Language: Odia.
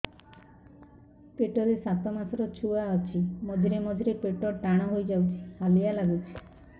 ପେଟ ରେ ସାତମାସର ଛୁଆ ଅଛି ମଝିରେ ମଝିରେ ପେଟ ଟାଣ ହେଇଯାଉଚି ହାଲିଆ ଲାଗୁଚି